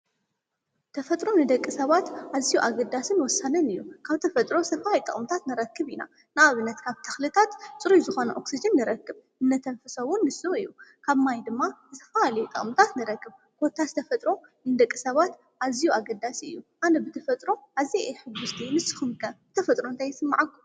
ተፈጥሮ ንደቂ ሰባት ኣዚዩ ኣገዳስን ወሰነን እዩ። ካብ ተፈጥሮ ዝተፈላለዩ ጥቕምታት ንረክብ ኢና። ንኣብነት ካብ ተኽልታት ጽርይ ዝኾነ ኦክሲጅን ንረክብ እነተንፍሶ እውን ንሱ እዩ። ካብ ማይ ድማ ዝተፈላለዩ ጥቕምታት ንረክብ ኮታስ ተፈጥሮ ንደቀ ሰባት ኣዚዩ ኣገዳስ እዩ። ኣነ ብተፈጥሮ ኣዚየ ሕጐስቲ ንስኹም ከ ብተፈጥሮ እንታይ ይስመዐኩ?